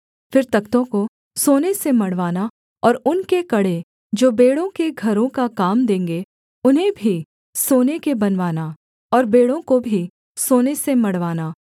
फिर तख्तों को सोने से मढ़वाना और उनके कड़े जो बेंड़ों के घरों का काम देंगे उन्हें भी सोने के बनवाना और बेंड़ों को भी सोने से मढ़वाना